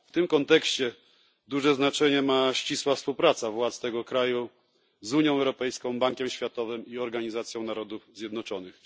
W tym kontekście duże znaczenie ma ścisła współpraca władz tego kraju z Unią Europejską, Bankiem Światowym i Organizacją Narodów Zjednoczonych.